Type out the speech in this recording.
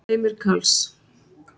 Heimir Karls.